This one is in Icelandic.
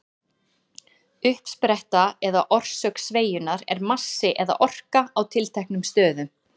Uppspretta eða orsök sveigjunnar er massi eða orka á tilteknum stöðum.